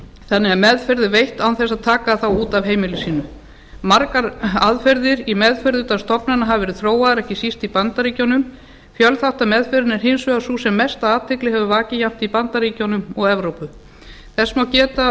þannig að meðferð er veitt án þess að taka þá út af heimili sínu margar aðferðir í meðferð utan stofnana hafa verið þróaðar ekki síst í bandaríkjunum fjölþáttameðferðin er hins vegar sú sem mesta athygli hefur vakið jafnt í bandaríkjunum og evrópu þess má geta